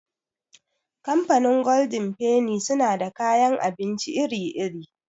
Kamfanin golden feni suna da kayan abinci iri -iri.